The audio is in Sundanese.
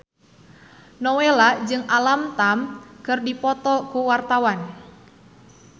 Nowela jeung Alam Tam keur dipoto ku wartawan